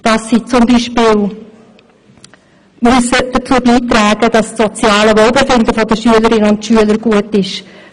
Beispielsweise müssen sie dazu beitragen, dass das soziale Wohlbefinden der Schülerinnen und Schüler gut ist.